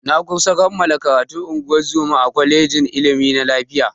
Na kusa kammala karatun ungozoma a kwalejin ilimi na lafiya.